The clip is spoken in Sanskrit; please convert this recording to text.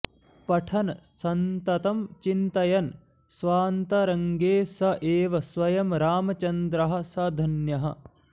पठन् सन्ततं चिन्तयन् स्वान्तरङ्गे स एव स्वयम् रामचन्द्रः स धन्यः